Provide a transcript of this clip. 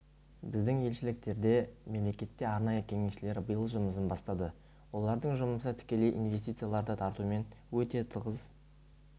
біздің елшіліктерде мемлекетте арнайы кеңесшілер биыл жұмысын бастады олардың жұмысы тікелей инвестицияларды тартумен өте тығыз